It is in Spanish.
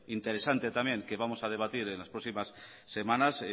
interesante también que vamos a debatir en las próximas semanas